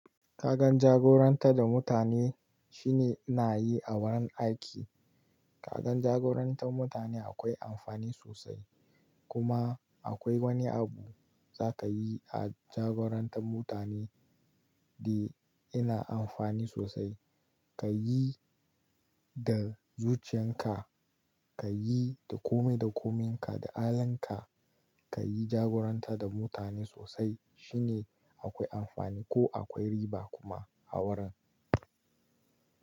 Kagan jagorantad da mutane shine inayi a wurin aiki. Kagan jagorantan mutane akwai amfani sosai. Kuma akwai wani abu za ka yi a jagorantan mutane de yana amfani sosai. Ka yi da zuciyanka, ka yi da kome da kominka, da halinka, ka yi jagorantad da mutane sosai shine akwai amfani ko akwai riba kuma a wurin.